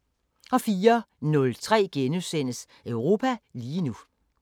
04:03: Europa lige nu *